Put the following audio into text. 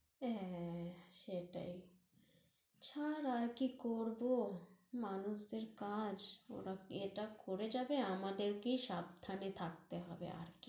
হ্যাঁ, হ্যাঁ, হ্যাঁ, সেটাই ছাড় আর কি করব, মানুষদের কাজ, ওরা~ এটা করে যাবে, আমাদেরকেই সাবধানে থাকতে হবে আর